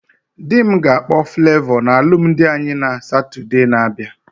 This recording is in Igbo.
Dị m ga-akpọ Flavọ na alụmdi anyị na Satode na abịa